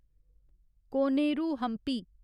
Koneru Hampi